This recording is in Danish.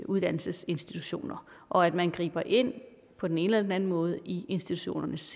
uddannelsesinstitutioner og at man griber ind på den ene eller den anden måde i institutionernes